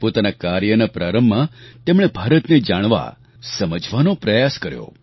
પોતાના કાર્યના પ્રારંભમાં તેમણે ભારતને જાણવા સમજવાનો પ્રયાસ કર્યો